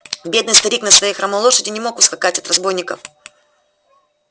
бедный старик на своей хромой лошади не мог ускакать от разбойников